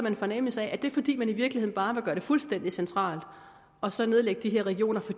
en fornemmelse af at det er fordi man i virkeligheden bare vil gøre det fuldstændig centralt og så nedlægge de her regioner for